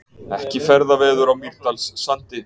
Ekki ferðaveður á Mýrdalssandi